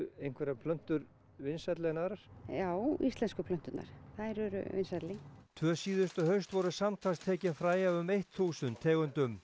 einhverjar plöntur vinsælli en aðrar já íslensku plönturnar þær eru vinsælli tvö síðustu haust voru samtals tekin fræ af um þúsund tegundum